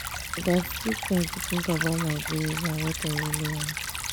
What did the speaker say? i gats take time to think about my goals and what i really want.